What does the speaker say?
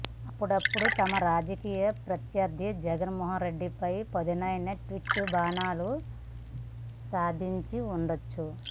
అప్పుడప్పుడు తమ రాజకీయ ప్రత్యర్ధి జగన్మోహన్ రెడ్డిపై పదునైన ట్వీట్ బాణాలు సందించి ఉండవచ్చు